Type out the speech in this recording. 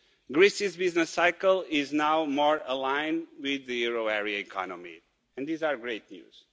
Greece's business cycle is now more aligned with the euro area economy and this is great news.